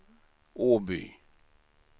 Åby